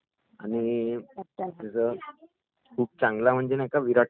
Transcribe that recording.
आणखी ............जे बॉलर आहेत...नवीन बॉलर आलेला आहे